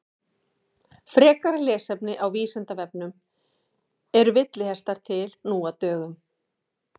Frekara lesefni á Vísindavefnum Eru villihestar til nú á dögum?